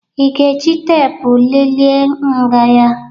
Ị ga-eji teepu lelee nha ya?